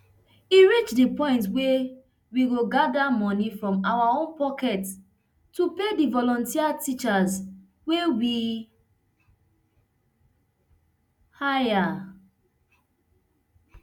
e reach di point wia we go gada moni from our own pockets to pay di volunteer teachers wey we hire